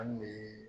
An bɛ